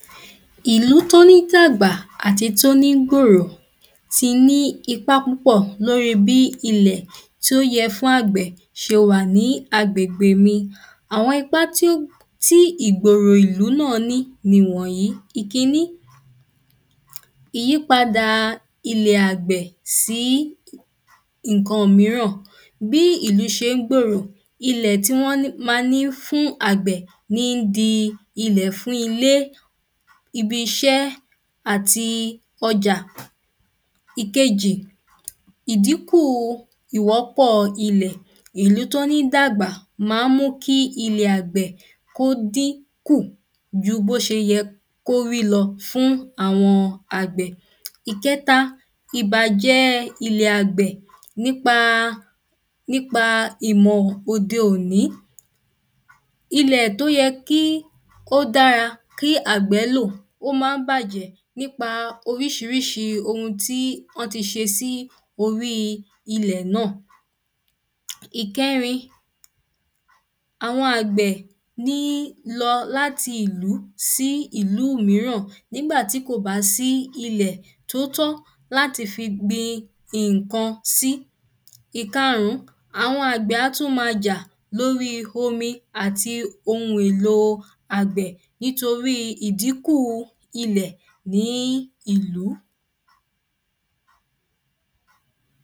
ìlú tó ní dàgbà àti tó ní gòrò ti nípá púpọ̀ lóri bí ilẹ̀ tó yẹ fún àgbẹ̀ se wà ní agbègbè mi, àwọn ipá tí ìgbòrò ìlú náà ní ni wọ̀nyí, ìkíní, ìyípadà ilẹ̀ àgbẹ̀ sí ǹkan míràn, bí ìlú se ń gbòrò, ilẹ̀ tí wọ́n ma ní fún àgbẹ̀ ni ń di ilẹ̀ fún ilé, ibisẹ́ àti ọjà Ìkejí, ìdínkúu ìwọ́pọ̀ ilẹ̀, ìlú tó ń dàgbà ma ń mú ki ilẹ̀ àgbẹ̀ kó dínkù ju bí ó se yẹ kí ó rí lọ fún àwọn àgbẹ̀, ìkẹta, ìbàjẹ́ẹ ilẹ̀ àgbẹ̀ nípa, nípa ìmọ̀ òde òní, ilẹ̀ tí ó yẹ kí ó dára, kí àgbẹ́ lò, ó ma ń bàjẹ́ nípa oun orísirísi oun tí wọ́n ti se sí orí ilẹ̀ náà, ìkẹrin, àwọn àgbẹ ní lọ láti ìlú sí ìlú míràn nígbàtí kò bá sí ilẹ̀ tó tọ́ láti fi gbin nńkan sí, ìkáàrún, àwọn àgbẹ̀ á tún ma jà lóri omi àti oun èlo àgbẹ̀, nítorí ìdínkú ilẹ̀ ní ìlú